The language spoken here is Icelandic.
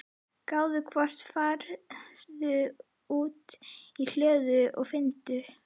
gáðu hvort. farðu út í hlöðu og finndu.